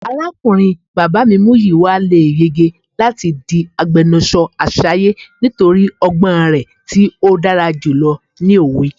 Arakunrin baba mi Muyiwa le yege lati di agbẹnusọ Asaye nitori ọgbọn rẹ ti odara julọ ni owe.